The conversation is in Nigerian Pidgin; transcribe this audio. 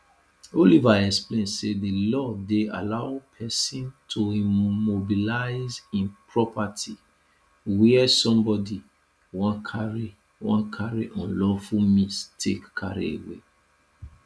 oliver explain say di law dey allow pesin to immobilize im property wia somebody wan carry wan carry unlawful means take carry away